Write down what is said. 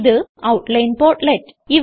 ഇത് outline portlet